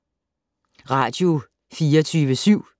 Radio24syv